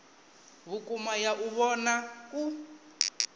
vhukuma ya u vhona u